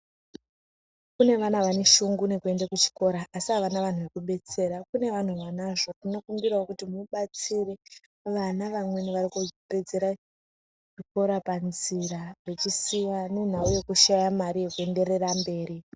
Kune vana vane shungu nekuenda kuchikora asi avana vanhu zvekubetsera, kune vanhu vanazvo tinokumbirawo kuti mubatsire vana vamweni vari kupedzera zvikora panzira vechisiya nenhau yekushaya mari yekuenderera mberi.